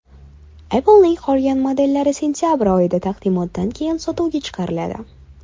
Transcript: Apple’ning qolgan modellari sentabr oyida, taqdimotdan keyin sotuvga chiqariladi.